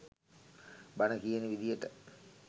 බණ කියන විදියට